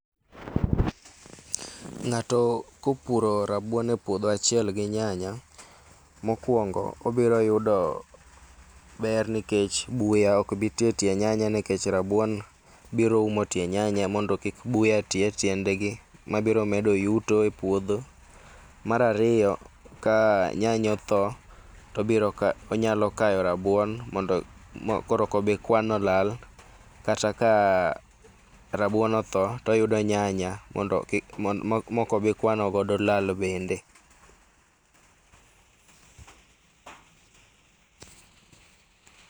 Ng'ato kopuro rabuon epuodho achiel gi nyanya, mokuongo obiro yudo ber nikech buya ok bii ti etie nyanya nikech rabuon biro umo tie nyanya mondo kik buya tii etiendgi mabiro medo yuto epuodho. Mar ariyo ka nyanya otho to obiro ka, onyalo kayo rabuon mondo koro ok obii kwano lal kata ka rabuon otho toyudo nyanya mondo kik, maok obi kwano godo lal bende.